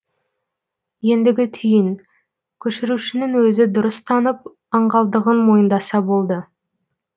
ендігі түйін көшірушінің өзі дұрыс танып аңғалдығын мойындаса болды